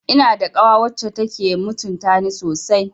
Ina da kawa wacce take mutuntani sosai